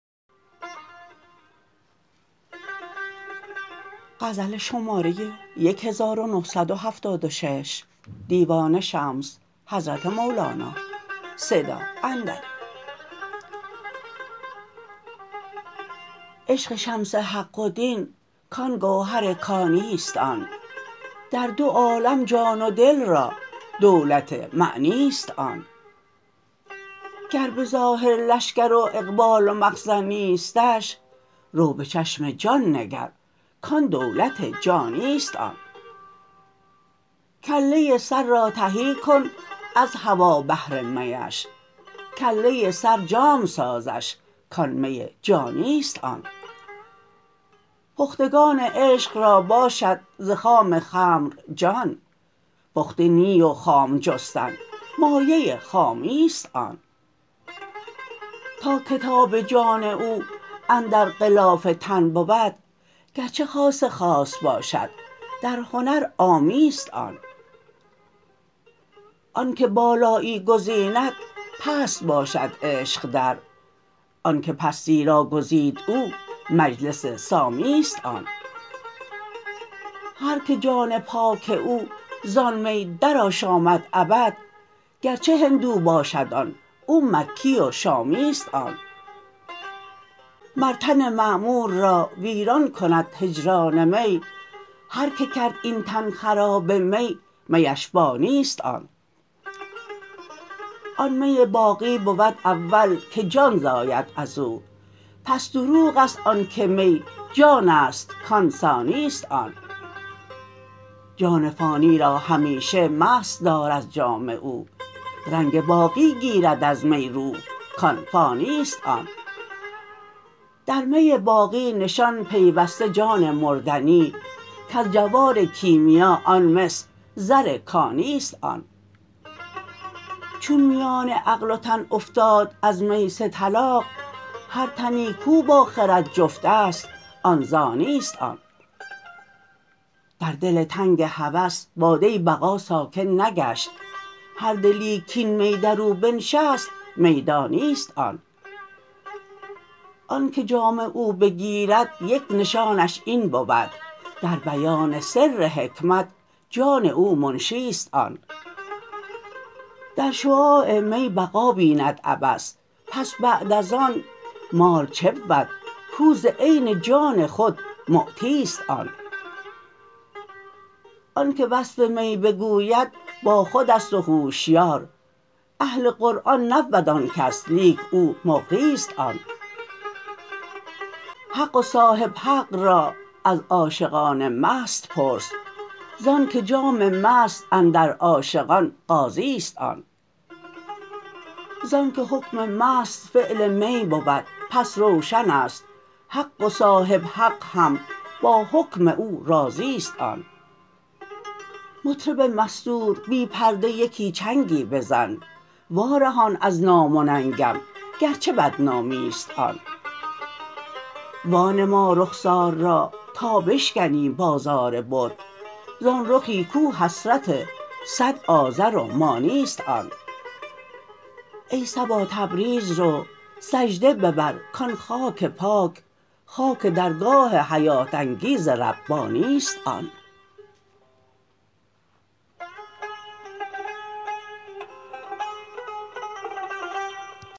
عشق شمس حق و دین کان گوهر کانی است آن در دو عالم جان و دل را دولت معنی است آن گر به ظاهر لشکر و اقبال و مخزن نیستش رو به چشم جان نگر کان دولت جانی است آن کله سر را تهی کن از هوا بهر میش کله سر جام سازش کان می جامی است آن پختگان عشق را باشد ز خام خمر جان پخته نی و خام جستن مایه خامی است آن تا کتاب جان او اندر غلاف تن بود گرچه خاص خاص باشد در هنر عامی است آن آنک بالایی گزیند پست باشد عشق در آنک پستی را گزید او مجلس سامی است آن هرک جان پاک او زان می درآشامد ابد گرچه هندو باشد آن و مکی و شامی است آن مر تن معمور را ویران کند هجران می هرک کرد این تن خراب می میش بانی است آن آن می باقی بود اول که جان زاید از او پس دروغ است آنک می جان است کان ثانی است آن جان فانی را همیشه مست دار از جام او رنگ باقی گیرد از می روح کان فانی است آن در می باقی نشان پیوسته جان مردنی کز جوار کیمیا آن مس زر کانی است آن چون میان عقل و تن افتاد از می سه طلاق هر تنی کو با خرد جفت است آن زانی است آن در دل تنگ هوس باده بقا ساکن نگشت هر دلی کاین می در او بنشست میدانی است آن آنک جام او بگیرد یک نشانش این بود در بیان سر حکمت جان او منشی است آن در شعاع می بقا بیند ابد پس بعد از آن مال چه بود کو ز عین جان خود معطی است آن آنک وصف می بگوید باخود است و هوشیار اهل قرآن نبود آن کس لیک او مقری است آن حق و صاحب حق را از عاشقان مست پرس زانک جام مست اندر عاشقان قاضی است آن زانک حکم مست فعل می بود پس روشن است حق و صاحب حق هم با حکم او راضی است آن مطرب مستور بی پرده یکی چنگی بزن وارهان از نام و ننگم گرچه بدنامی است آن وانما رخسار را تا بشکنی بازار بت زان رخی کو حسرت صد آزر و مانی است آن ای صبا تبریز رو سجده ببر کان خاک پاک خاک درگاه حیات انگیز ربانی است آن